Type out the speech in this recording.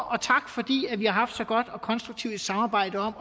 og tak fordi vi har haft så godt og konstruktivt et samarbejde om